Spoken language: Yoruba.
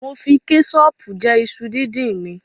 Mo fi kẹṣọọ̀pù jẹ iṣu díndín mi.